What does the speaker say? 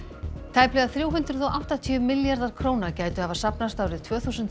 tæplega þrjú hundruð og áttatíu milljarðar króna gætu hafa safnast árið tvö þúsund